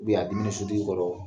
Bi a diminen sotigi kɔrɔ